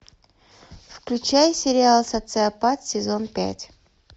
включай сериал социопат сезон пять